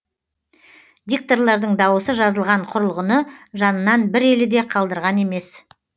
дикторлардың дауысы жазылған құрылғыны жанынан бір елі де қалдырған емес